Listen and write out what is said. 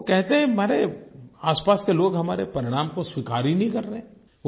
वे कहते हैं कि मेरे आसपास के लोग हमारे परिणाम को स्वीकार ही नही कर रहे हैं